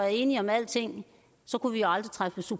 enige om alting kunne vi aldrig træffe